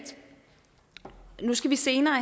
vi senere